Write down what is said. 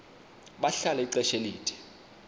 bahlala ixesha elide